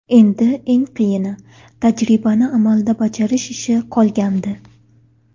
Endi eng qiyini – tajribani amalda bajarish ishi qolgandi.